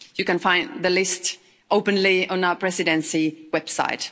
You can find the list openly on our Presidency website.